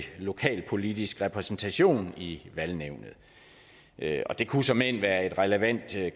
lokalpolitisk repræsentation i valgnævnet det det kunne såmænd være et relevant